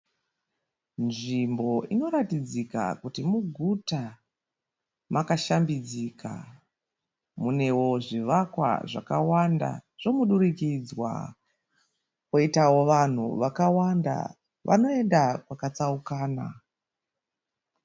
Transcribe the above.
Nzvimbo inoratidzika kuti muguta. Makashambidzika. Munewo zvivakwa zvakawanda zvomudurikidzwa. Koitawo vanhu vakawanda vanoinda kwakatsaukana.